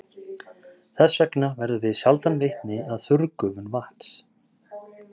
Þess vegna verðum við sjaldan vitni að þurrgufun vatns.